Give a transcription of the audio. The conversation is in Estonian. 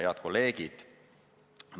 Head kolleegid!